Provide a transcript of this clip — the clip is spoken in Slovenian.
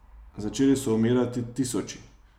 Začeli so umirati tisoči.